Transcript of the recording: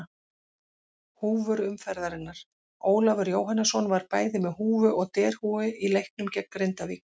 Húfur umferðarinnar: Ólafur Jóhannesson var bæði með húfu og derhúfu í leiknum gegn Grindavík.